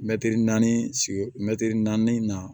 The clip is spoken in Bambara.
Mɛtiri naani sigi mɛtiri naani na